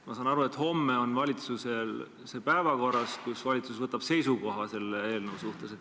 Ma saan aru, et homme on valitsusel see päevakorras, valitsus võtab seisukoha selle eelnõu suhtes.